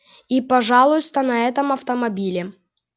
и пожалуйста на этом автомобиле